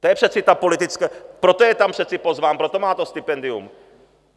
To je přece ta politická, proto je tam přece pozván, proto má to stipendium.